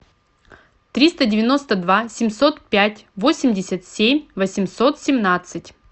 триста девяносто два семьсот пять восемьдесят семь восемьсот семнадцать